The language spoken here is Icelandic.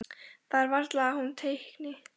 Það er varla að hún teikni.